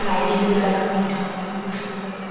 lighting দ্বারা connect হয় এবং খুব সুন্দর লাগ--